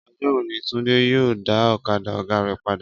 Ọjọ́ wo ni Túndé yóò dá ọ̀kadà ọ̀gá rẹ̀ padà?